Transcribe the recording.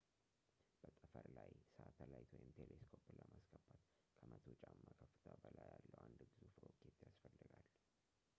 በጠፈር ላይ ሳተላይት ወይም ቴሌስኮፕን ለማስገባት ከ 100 ጫማ ከፍታ በላይ ያለው አንድ ግዙፍ ሮኬት ያስፈልጋል